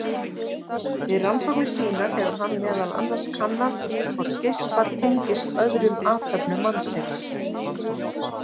Við rannsóknir sínar hefur hann meðal annars kannað hvort geispar tengist öðrum athöfnum mannsins.